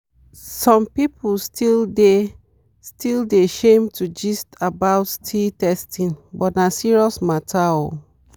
some people still dey still dey shame to gist about sti testing but na serious matter oo